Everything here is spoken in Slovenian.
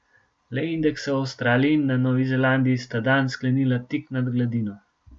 Le indeksa v Avstraliji in na Novi Zelandiji sta dan sklenila tik nad gladino.